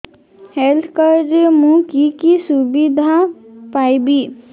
health card ରେ ମୁଁ କି କି ସୁବିଧା ପାଇବି